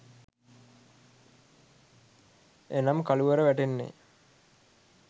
එනම් කළුවර වැටෙන්නේ